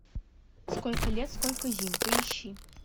сколько лет сколько зим поищи